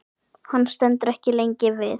Hann stendur ekki lengi við.